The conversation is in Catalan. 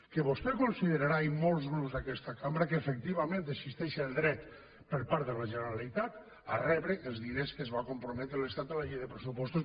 que vostè considerarà i molts grups d’aquesta cambra que efectivament existeix el dret per part de la generalitat a rebre els diners a què es va comprometre l’estat en la llei de pressupostos